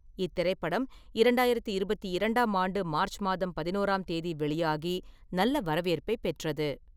இத்திரைப்படம் இரண்டாயிரத்தி இருபத்தி இரண்டாம் ஆண்டு மார்ச் மாதம் பதினோராம் தேதி வெளியாகி, நல்ல வரவேற்பைப் பெற்றது.